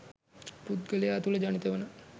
පුද්ගලයා තුළ ජනිත වන